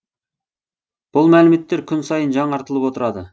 бұл мәліметтер күн сайын жаңартылып отырады